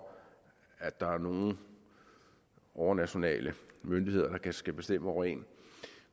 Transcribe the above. at der er nogle overnationale myndigheder der skal bestemme over en